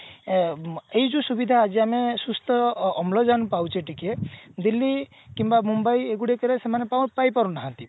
ଏ ଏଇ ଯୋଉ ସୁବିଧା ଆଜି ଆମେ ଅମ୍ଳଜାନ ପାଉଛେ ଟିକେ ଦିଲ୍ଲୀ କିମ୍ବା ମୁମ୍ବାଇ ରେ ଏଗୁଡା ସେମାନେ ପାଇ ପାରୁନାହାନ୍ତି